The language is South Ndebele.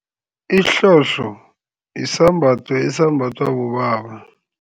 Isihlohlo yisambatho esambathwa bobaba.